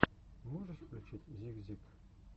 ты можешь включить зик зик